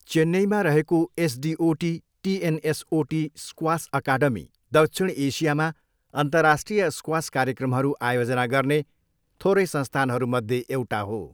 चेन्नईमा रहेको SDOT TNSOT squash academy दक्षिण एसियामा अन्तर्राष्ट्रिय स्क्वास कार्यक्रमहरू आयोजना गर्ने थोरै संस्थानहरूमध्ये एउटा हो।